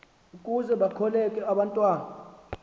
ukuze bakhokele abantwana